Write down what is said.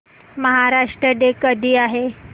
Maharashtra day कधी आहे